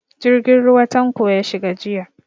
Jirgin ruwa Tanko ya shiga jiya.